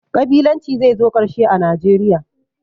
Ƙabilanci zai zo ƙarshe a Najeriya